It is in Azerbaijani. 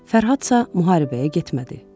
Fərhadsə müharibəyə getmədi.